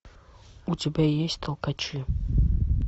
у тебя есть толкачи